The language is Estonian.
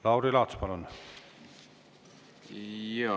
Lauri Laats, palun!